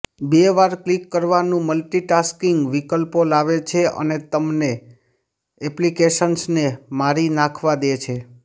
બે વાર ક્લિક કરવાનું મલ્ટીટાસ્કિંગ વિકલ્પો લાવે છે અને તમને એપ્લિકેશન્સને મારી નાખવા દે છે